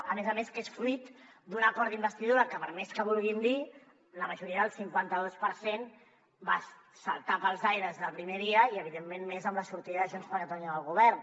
a més a més que és fruit d’un acord d’investidura que per més que vulguin dir la majoria del cinquanta dos per cent va saltar pels aires des del primer dia i evidentment més amb la sortida de junts per catalunya del govern